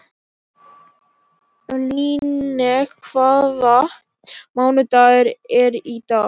Líneik, hvaða mánaðardagur er í dag?